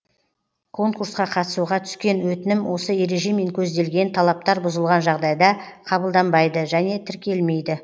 конкурсқа қатысуға түскен өтінім осы ережемен көзделген талаптар бұзылған жағдайда қабылданбайды және тіркелмейді